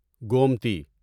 Gomti